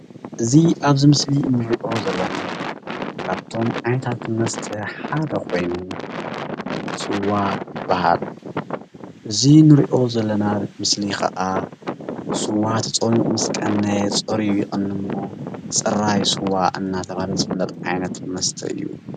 እዚ ኣብዚ ምስሊ እዚ እንሪኦ ዘለና ካብቶመ ዓይነታት መስተ ሓደ ኮይኑ ስዋ ይባሃል፡፡ እዚ እንሪኦ ዘለና ምስሊ ከዓ ስዋ ተፀሚቁ ምስ ቀነየ ፀርዩ ይቅንይ እሞ ፅራይ ስዋ እንዳተባሃለ ዝፍለጥ ዓይነት መስተ እዩ፡፡